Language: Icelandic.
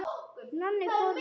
Nonni fór með okkur.